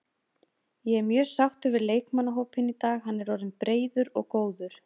Ég er mjög sáttur við leikmannahópinn í dag, hann er orðinn breiður og góður.